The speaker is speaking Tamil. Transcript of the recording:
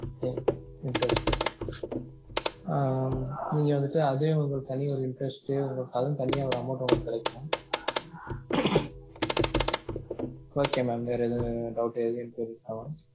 okay interest ஆஹ் நீங்க வந்துட்டு அதே உங்களுக்கு தனி ஒரு interest டு அதுக்கு தனியா ஒரு amount டு உங்களுக்கு கிடைக்கும், okay mam வேற எதும் doubt டு எதும் இருக்கா mam